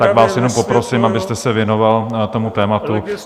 Tak vás jenom poprosím, abyste se věnoval tomu tématu.